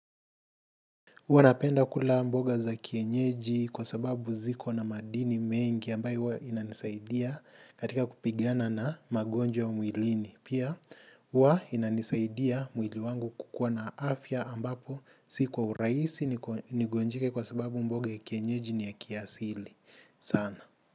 Huwa napenda kula mboga za kienyeji kwa sababu ziko na madini mengi ambayo huwa inanisaidia katika kupigana na magonjwa mwilini. Pia, huwa inanisaidia mwili wangu kukua na afya ambapo si kwa urahisi ni gonjeke kwa sababu mboga ya kienyeji ni ya kiasili sana.